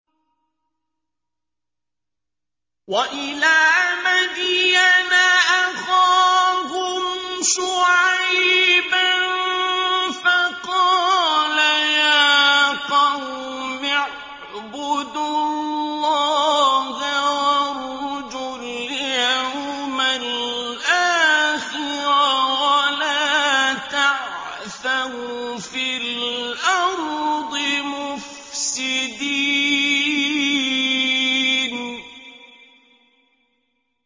وَإِلَىٰ مَدْيَنَ أَخَاهُمْ شُعَيْبًا فَقَالَ يَا قَوْمِ اعْبُدُوا اللَّهَ وَارْجُوا الْيَوْمَ الْآخِرَ وَلَا تَعْثَوْا فِي الْأَرْضِ مُفْسِدِينَ